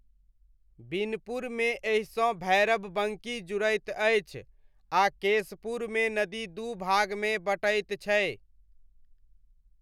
बिनपुरमे एहिसँ भैरबबङ्की जुड़ैत अछि, आ केशपुरमे नदी दू भागमे बँटैत छै।